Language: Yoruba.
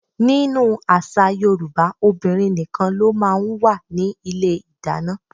Nínú àṣà Yorùbá, obìnrin nìkan ló máa ń wà ní ilé ìdáná.